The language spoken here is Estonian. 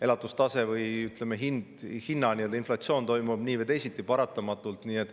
Elatustaseme või hinna inflatsioon toimub nii või teisiti paratamatult.